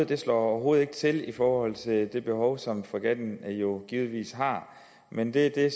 det slår overhovedet ikke til i forhold til det behov som fregatten jo givetvis har men det er